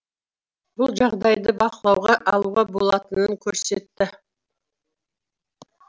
бұл жағдайды бақылауға алуға болатынын көрсетті